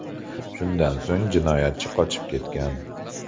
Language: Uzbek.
Shundan so‘ng jinoyatchi qochib ketgan.